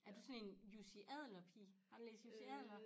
Er du sådan én Jussi Adler pige har du læst Jussi Adler?